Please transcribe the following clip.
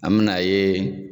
A mi na ye